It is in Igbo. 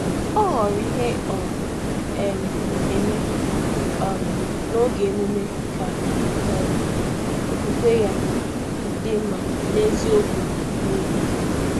Ọ họrọ ihe ọ na-eme n’oge emume, ka okwukwe ya dị mma na eziokwu n’obi.